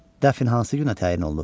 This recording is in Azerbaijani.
Dəfnə hansı günə təyin olunub?